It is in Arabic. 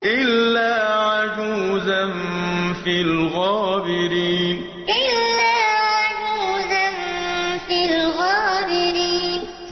إِلَّا عَجُوزًا فِي الْغَابِرِينَ إِلَّا عَجُوزًا فِي الْغَابِرِينَ